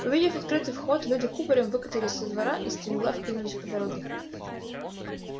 увидев открытый выход люди кубарем выкатились со двора и стремглав кинулись по дороге